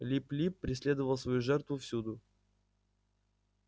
лип лип преследовал свою жертву всюду